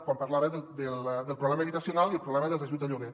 quan parlava del problema habitacional i del problema dels ajuts al lloguer